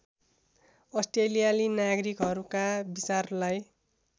अस्ट्रेलियाली नागरिकहरूका विचारलाई